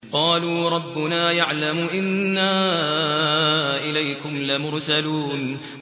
قَالُوا رَبُّنَا يَعْلَمُ إِنَّا إِلَيْكُمْ لَمُرْسَلُونَ